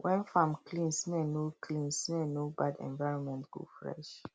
when farm clean smell no clean smell no bad environment go fresh